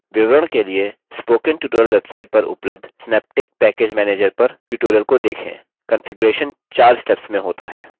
विवरण के लिए spoken tutorial website पर उपलब्ध synaptic package manager पर tutorial को देखें